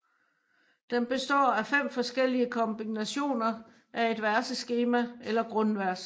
Den består af fem forskellige kombinationer af et verseskema eller grundvers